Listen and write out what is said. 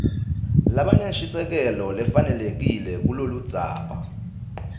labanenshisekelo lefanelekile kuloludzaba